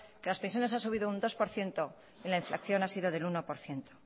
que las pensiones han subido un dos por ciento y la inflación ha sido del uno por ciento